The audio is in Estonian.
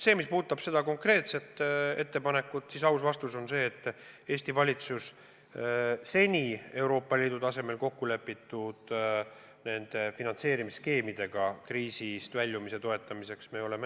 Mis puudutab seda konkreetset ettepanekut, siis aus vastus on see, et Eesti valitsus on seni toetanud Euroopa Liidu tasemel kokkulepitut, kuidas nende finantseerimisskeemide abil kriisist väljuda.